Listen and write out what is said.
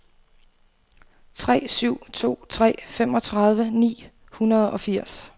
tre syv to tre femogtredive ni hundrede og firs